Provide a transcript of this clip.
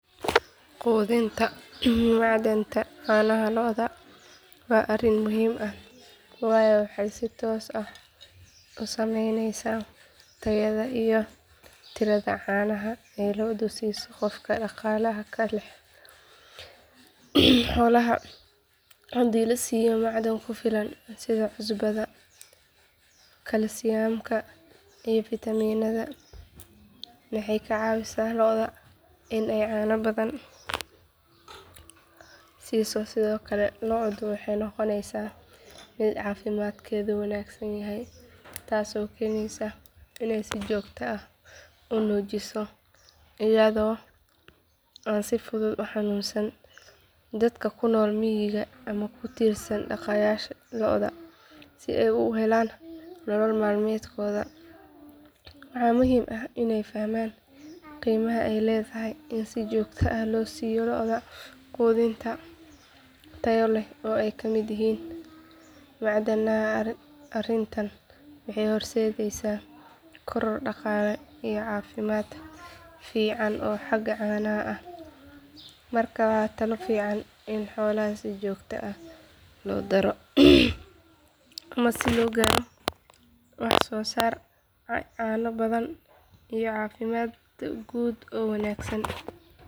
Quudinta macdanta caanaha lo'da waa arrin muhiim ah waayo waxay si toos ah u saameyneysaa tayada iyo tirada caanaha ay lo'du siiso qofka dhaqaalaha ka hela xoolaha hadii la siiyo macdan ku filan sida cusbada kalsiyamka iyo fiitamiinada waxay ka caawisaa lo'da inay caano badan siiso sidoo kale lo'du waxay noqonaysaa mid caafimaadkeedu wanaagsan yahay taasoo keeneysa inay si joogto ah u nuujiso iyadoo aan si fudud u xanuunsan dadka ku nool miyiga ama ku tiirsan dhaqashada lo'da si ay ugu helaan nolol maalmeedkooda waxaa muhiim ah inay fahmaan qiimaha ay leedahay in si joogto ah loo siiyo lo'da quudin tayo leh oo ay ka mid yihiin macdanaha arrintan waxay horseedeysaa koror dhaqaale iyo caafimaad fiican oo xagga caanaha ah marka waa talo fiican in xoolaha si joogto ah loogu daro macdan si loo gaaro wax soo saar caano badan iyo caafimaad guud oo wanaagsan.